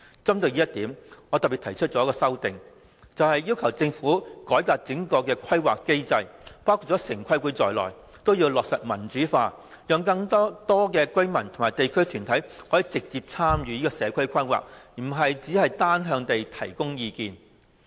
針對這一點，我特別提出一項修正案，要求政府改革整個規劃機制，包括城規會，必須落實民主化，讓更多居民及地區團體可以直接參與社區規劃，而不只是單向地提供意見。